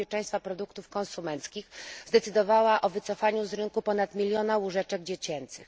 bezpieczeństwa produktów konsumenckich zdecydowała o wycofaniu z rynku ponad miliona łóżeczek dziecięcych.